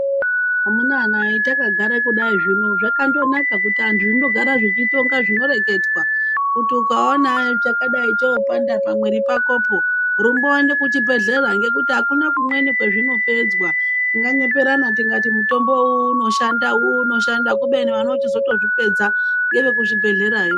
Amuna hataka gara kudai zvino zvakando naka kuti antu zvindo gara zvichi tonga zvino reketwa kuti uka ona chakadai cho panda pa mwiri pakopo rumba uyende ku chibhedhlera ngekuti akuna ku mweni kwezvino pedzwa tinga nyeperana tikati mutombo uwu uno shanda uwu uno shanda kubeni vanoto zvichito zvipedza ngeve ku zvibhedhlera yoo.